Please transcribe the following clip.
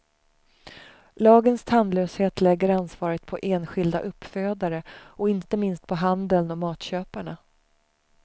Lagens tandlöshet lägger ansvaret på enskilda uppfödare och inte minst på handeln och matköparna.